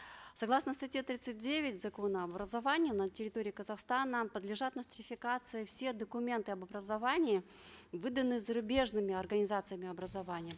согласно статье тридцать девять закона об образовании на территории казахстана подлежат нострификации все документы об образовании выданные зарубежными организациями образования